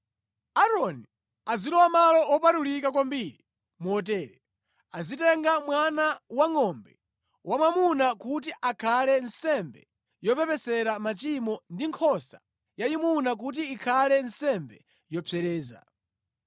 “Aaroni azilowa Malo Wopatulika Kwambiri motere: azitenga mwana wangʼombe wamwamuna kuti akhale nsembe yopepesera machimo ndi nkhosa yayimuna kuti ikhale nsembe yopsereza.